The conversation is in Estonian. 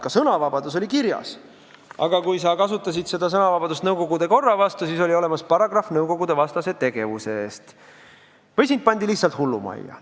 Ka sõnavabadus oli kirjas, aga kui sa kasutasid seda sõnavabadust nõukogude korra vastu, siis selgus, et oli olemas paragrahv nõukogudevastase tegevuse kohta, või sind pandi lihtsalt hullumajja.